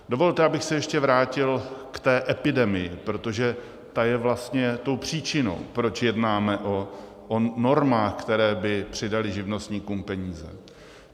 Dovolte, abych se ještě vrátil k té epidemii, protože ta je vlastně tou příčinou, proč jednáme o normách, které by přidaly živnostníkům peníze.